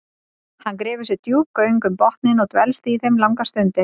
Hann grefur sér djúp göng um botninn og dvelst í þeim langar stundir.